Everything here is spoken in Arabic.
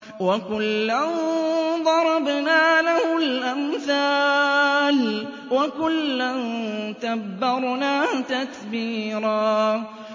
وَكُلًّا ضَرَبْنَا لَهُ الْأَمْثَالَ ۖ وَكُلًّا تَبَّرْنَا تَتْبِيرًا